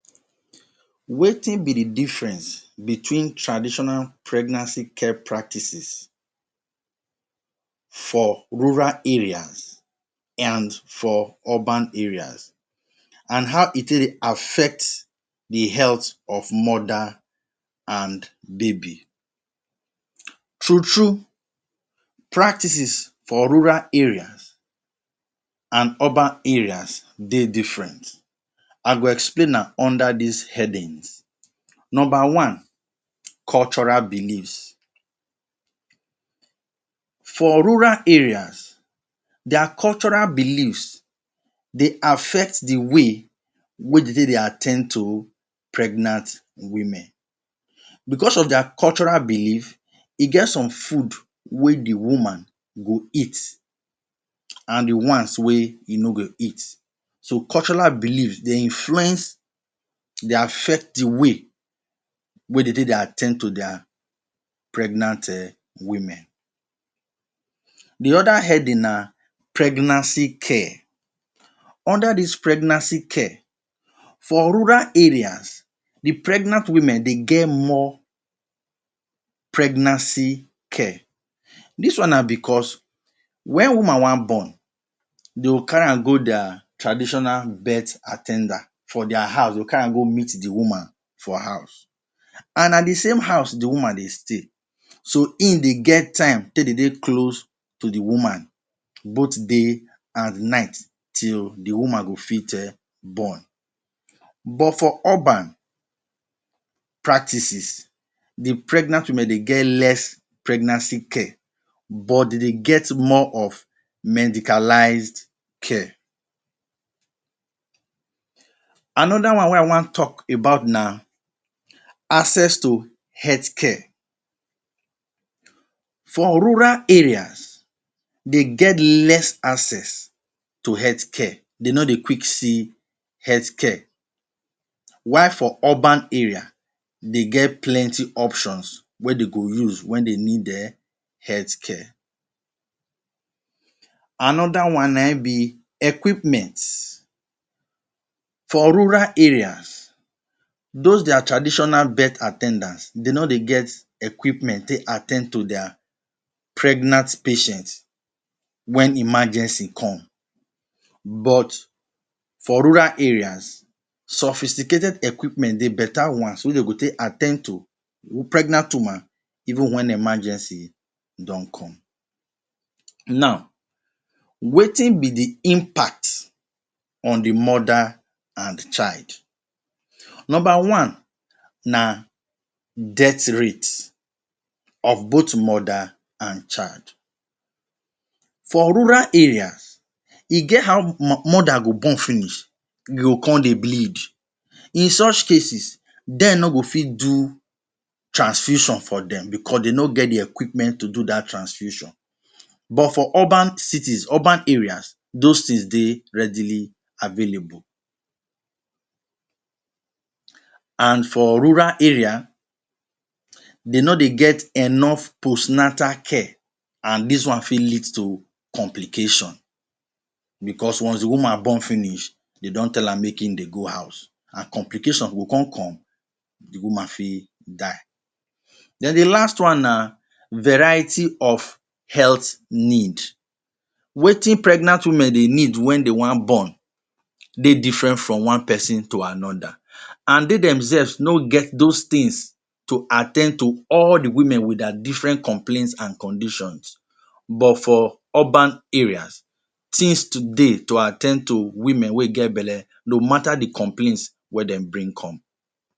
Wetin be the difference between traditional pregnancy care practices for rural area and for urban areas and how e take dey affect the health of mother and baby? True true, practices for rural areas and urban areas dey different, I go explain am under dis headings. Number one, cultural beliefs. For rural areas, their cultural beliefs dey affect the way wey dey take dey at ten d to pregnant women, because of their cultural beliefs e get some food wey the woman go eat and the ones wey e no go eat. So cultural beliefs dey influence, dey affect the way wey dey take dey at ten d to their pregnant um women. The other heading na pregnancy care. Under dis pregnancy care, for rural areas the pregnant women dey get more pregnancy care, dis one na because wen woman wan born dey go carry am go dia traditional birth at ten der. For their house dey go carry am go meet the woman for house. And na the same house the woman dey stay so im go get time take dey dey close to the woman both day and night till the woman go fit um born. But for urban practises, the pregnant women dey get less pregnancy care but dey dey get more of medicalized care. Another one wey I wan talk about na, access to healthcare. For rural areas, dey get less access to healthcare dey no dey quick see healthcare while for urban area dey get plenty options wey dey go use wen dey go need um health care. Another one na im be equipment, for rural areas those there traditional birth at ten dance dey no dey get equipment take at ten d to their pregnant patients wen emergency come but for rural areas, sophisticated equipments dey better ones wey dey go take at ten d to pregnant woman even wen emergency don come. Now wetin be the impact on the mother and child? Number one na death rate of both mother and child, for rural areas e get how mother go born finish e go come dey bleed, in such cases dem no go fit do transfusion for dem because dey no get the equipment to do day transfusion but for urban cities, for urban areas those things dey readily available. And for rural area dey no dey get enough postnatal care and dis one fit lead to complication because once the woman born finish, dey don tell am make im dey go her house and complication go come come the woman fit die. Den the last one na variety of health need, wetin pregnant women dey need wen dey wan born dey different from one person to another and dey themselves no get those things to at ten d to all the women with their different complains and conditions but for urban areas seems to dey to at ten d to woman wey get belle no matter the complains wey dem bring come.